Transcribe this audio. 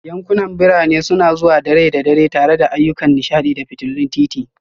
Yankunan birane suna zuwa da rai da dare tare da ayyukan nishaɗi da fitulun titi